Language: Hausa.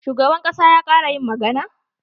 Shugaban ƙasa ya ƙare yin magana?